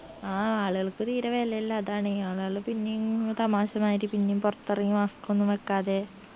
ആ ആളുകൾക്ക് തീര വെലയില്ല അതാണേ ആളുകള് പിന്നിയിങ് തമാശ മായിരി പിന്നിയും പൊറത്തെറങ്ങി mask ഒന്നും വെക്കാതെ